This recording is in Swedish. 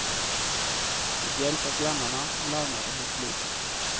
Med hjälp av grannarna larmade hon polisen.